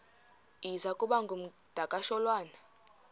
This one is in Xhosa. iza kuba ngumdakasholwana